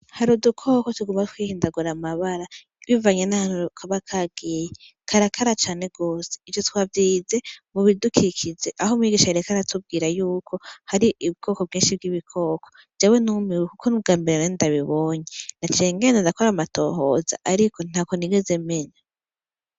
Harudukoko tuguma twihindagura amabara iwivanya n'ahanuro ukaba kagiye karakara cane gose ivyo twavyize mubidukikize aho mwigisha yerekara tubwira yuko hari ibwoko bwinshi bw'ibikoko jawe numewe, kuko ni ubwambere ane ndabibonye nacengene nadakora amatohoza, ariko nta ko nigeze menya.